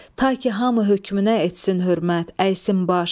Ta ki hamı hökmünə etsin hörmət, əysin baş.